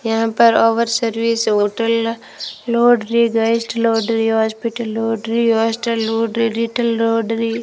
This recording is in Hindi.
यहां पर over service hotel laundry guest laundry hospital laundry hostel laundry retail laundry --